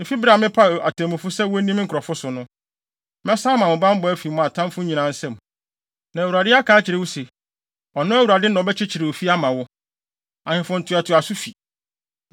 efi bere a mepaw atemmufo sɛ wonni me nkurɔfo so no. Mɛsan ama mo bammɔ afi mo atamfo nyinaa nsam. “ ‘Na Awurade aka akyerɛ wo se, ɔno Awurade na ɔbɛkyekyere ofi ama wo; ahemfo ntoatoaso fi.